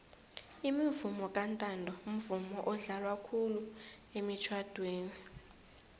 umvomo kantanto mvumo odlalwa khulu emitjhadweni